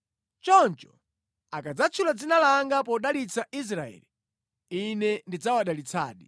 Choncho akadzatchula dzina langa podalitsa Aisraeli, Ine ndidzawadalitsadi.